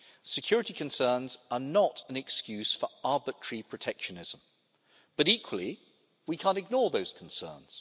Security concerns are not an excuse for arbitrary protectionism but, equally, we can't ignore those concerns.